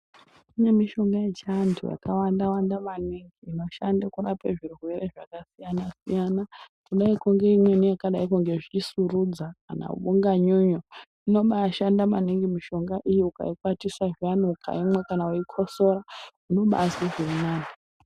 Kune mishonga yechianhu yakawanda Wanda maningi inoshande kurape zvirwere zvakasiyana siyana kuneimweni yakadai ngezvisurudza kana unganyunyu inobaashanda maningi mishonga iyo ukaikwatisa zviyani ukaimwa kana weikosora unobaazwe zvirinani.